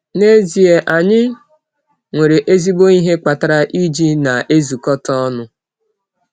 N’ezie, anyị nwere ezigbo ihe kpatara iji na-ezukọta ọnụ.